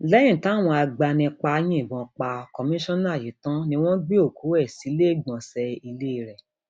lẹyìn táwọn agbanipa yìnbọn pa kọmíkànnà yìí tán ni wọn gbé òkú ẹ sílẹẹgbọnsẹ ilé ẹ